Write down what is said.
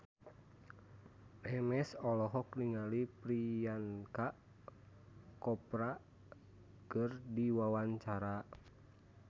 Memes olohok ningali Priyanka Chopra keur diwawancara